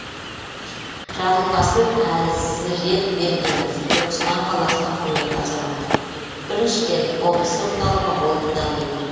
жарылқасын әзіретбергенов түркістан қаласының құрметті азаматы біріншіден облыс орталығы болып дамиды